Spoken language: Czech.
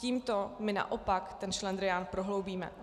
Tímto my naopak ten šlendrián prohloubíme.